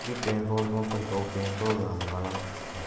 B petrol pump पर दो petrol घाल बाला है।